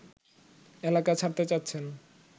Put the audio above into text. এলাকা ছাড়তে চাচ্ছেন